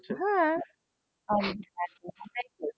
হ্যাঁ।